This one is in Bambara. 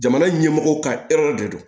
Jamana ɲɛmɔgɔw ka de don